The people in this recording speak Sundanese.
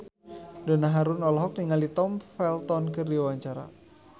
Donna Harun olohok ningali Tom Felton keur diwawancara